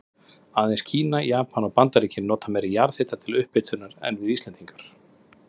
Aðeins Kína, Japan og Bandaríkin nota meiri jarðhita til upphitunar en við Íslendingar.